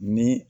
Ni